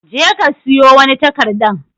Je ka siyo wani takarɗan.